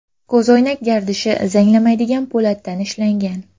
Ko‘zoynak gardishi zanglamaydigan po‘latdan ishlangan.